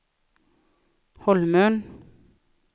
Holmön